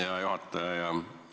Hea juhataja!